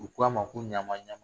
U ko a ma ko ɲama ɲama